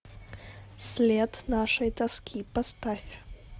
след нашей тоски поставь